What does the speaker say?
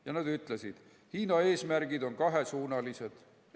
Ja nad ütlesid, et Hiina eesmärgid on kahesuunalised.